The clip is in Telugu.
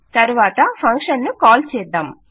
తరువాత ఫంక్షన్ ను కాల్ చేద్దాం